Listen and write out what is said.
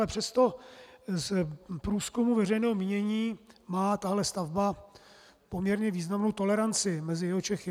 Ale přesto z průzkumů veřejného mínění má tahle stavba poměrně významnou toleranci mezi Jihočechy.